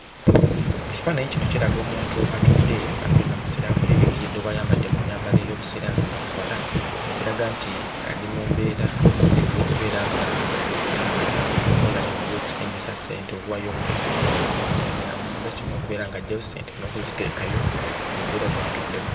Ekifaananyi kino kiraga omuntu atudde ate nga Musiraamu yeebikkiridde oba ayambadde mu nnyambala ey'Obusiraamu nga muwala, ekiraga nti ali mu mbeera ey'okubeera ng'akola bino eby'okucengisa ssente; okuwaayo omuntu ssente n'amuwa ssente n'amuddiza kino, okubeera ng'aggyayo ssente n'okuziteekayo. Y'embeera gy'atuddemu.